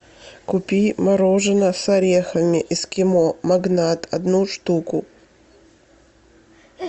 купи мороженое с орехами эскимо магнат одну штуку